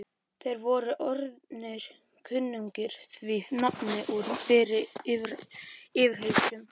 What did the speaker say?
Þeir voru orðnir kunnugir því nafni úr fyrri yfirheyrslum.